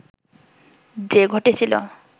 যে ঘটেছিল